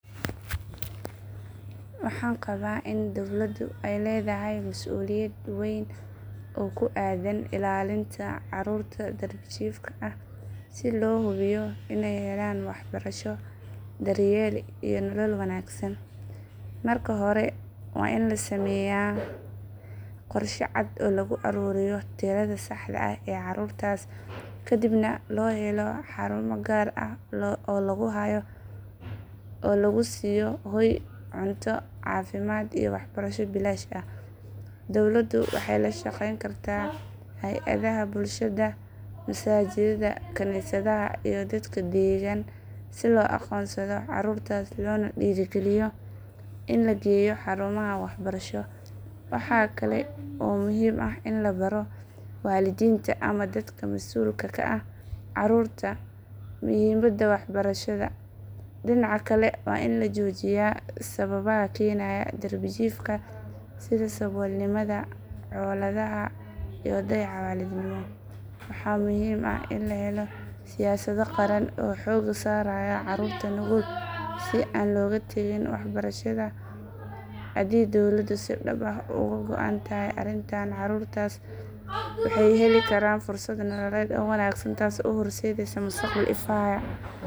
Waxaan qabaa in dawladdu ay leedahay masuuliyad weyn oo ku aaddan ilaalinta carruurta darbijiifka ah si loo hubiyo inay helaan waxbarasho, daryeel iyo nolol wanaagsan. Marka hore waa in la sameeyaa qorshe cad oo lagu ururiyo tirada saxda ah ee carruurtaas, kadibna loo helo xarumo gaar ah oo lagu hayo oo lagu siiyo hoy, cunto, caafimaad iyo waxbarasho bilaash ah. Dawladdu waxay la shaqayn kartaa hay'adaha bulshada, masaajidda, kaniisadaha iyo dadka deggan si loo aqoonsado carruurtaas loona dhiirrigeliyo in la geeyo xarumaha waxbarasho. Waxaa kale oo muhiim ah in la baro waalidiinta ama dadka masuulka ka ah carruurta muhiimadda waxbarashada. Dhinaca kale waa in la joojiyaa sababa keenaya darbijiifka sida saboolnimada, colaadaha iyo dayaca waalidnimo. Waxaa muhiim ah in la helo siyaasado qaran oo xoogga saaraya carruurta nugul si aan looga tagin waxbarashada. Haddii dawladdu si dhab ah uga go'an tahay arrintan, carruurtaas waxay heli karaan fursad nololeed oo wanaagsan taas oo u horseedaysa mustaqbal ifaya. Carruurtu waa hantida qaranka waxaana la gudboon dhammaan cidda ay khusayso inay ka shaqeyso ilaalintooda.